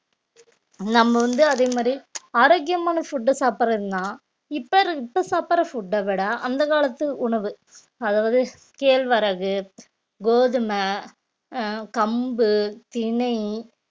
நம்ம வந்து அதே மாதிரி ஆரோக்கியமான food உ சாப்பிடுறதுன்னா இப்ப இரு~ இப்ப சாப்பிடுற food அ விட அந்த காலத்து உணவு அதாவது கேழ்வரகு, கோதும, அஹ் கம்பு, திணை